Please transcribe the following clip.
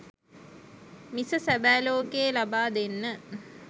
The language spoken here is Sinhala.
මිස සැබෑ ලොකයේ ලබාදෙන්න